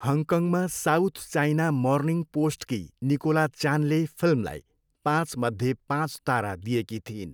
हङकङमा South China Morning पोस्टकी Nicola चानले फिल्मलाई पाँचमध्ये पाँच तारा दिएकी थिइन्।